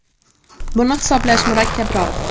Buni hisoblash murakkabroq”.